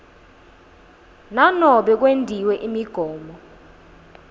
nanobe kwentiwe imigomo